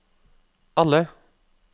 alle